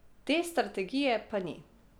Te strategije pa ni.